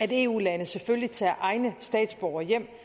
at eu landene selvfølgelig tager egne statsborgere hjem